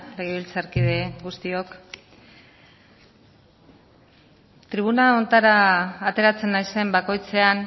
legebiltzarkide guztiok tribuna honetara ateratzen naizen bakoitzean